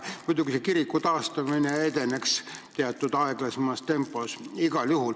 Muidu selle kiriku taastamine edeneks igal juhul aeglasemas tempos.